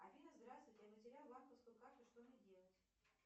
афина здравствуйте я потерял банковскую карту что мне делать